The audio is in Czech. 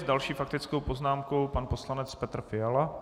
S další faktickou poznámkou pan poslanec Petr Fiala.